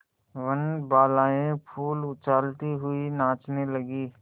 वनबालाएँ फूल उछालती हुई नाचने लगी